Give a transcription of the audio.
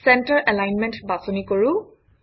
centre alignment বাছনি কৰোঁ